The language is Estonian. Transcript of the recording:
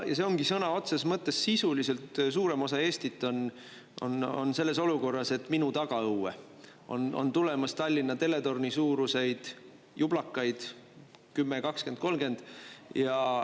Ja see ongi, sõna otseses mõttes sisuliselt suurem osa Eestit on selles olukorras, et minu tagaõue on tulemas Tallinna teletorni suuruseid jublakaid, 10, 20, 30.